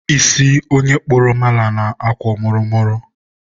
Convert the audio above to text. isi onye kpụrụ mala na-akwọ mụrụ mụrụ.